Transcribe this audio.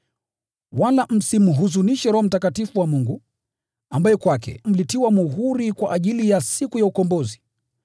Wala msimhuzunishe Roho Mtakatifu wa Mungu, ambaye kwake mlitiwa muhuri kwa ajili ya siku ya ukombozi.